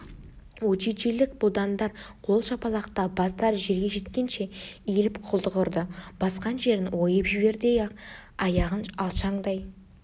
уджиджилік будандар қол шапалақтап бастары жерге жеткенше иіліп құлдық ұрды басқан жерін ойып жіберердей-ақ аяғын алшаңдай